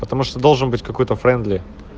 потому что должен быть какой-то френдли